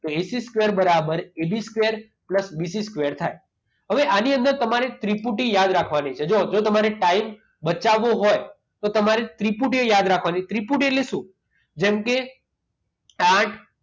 તો AC square બરાબર AB square plus BC square થાય. હવે આની અંદર તમારે ત્રિપુટી યાદ રાખવાની છે. જો જો તમારે ટાઈમ બચાવવો હોય તો તમારે ત્રિપુટીઓ યાદ રાખવાની. ત્રિપુટી એટલે શું? જેમ કે આઠ